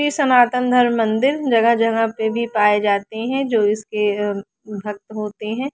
ये सनातन धर्म मंदिर जगह जगह पे भी पाए जाते हैं जो इसके अ भक्त होते हैं।